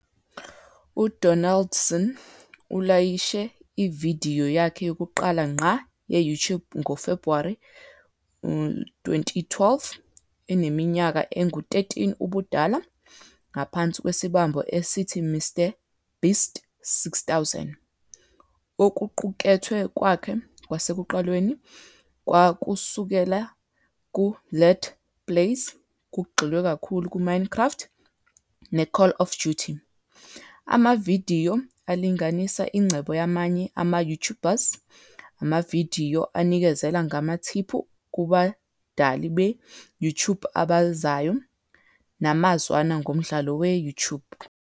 UDonaldson ulayishe ividiyo yakhe yokuqala ngqa ye-YouTube ngoFebhuwari 2012, eneminyaka engu-13 ubudala, ngaphansi kwesibambo esithi "MrBeast6000", okuqukethwe kwakhe kwasekuqaleni kwakusukela ku- Let Plays, kugxilwe kakhulu kwi- "Minecraft" ne- "Call of Duty",amavidiyo alinganisa ingcebo yamanye ama-YouTubers, amavidiyo anikezela ngamathiphu kubadali be-YouTube abazayo, namazwana ngomdlalo we-YouTube.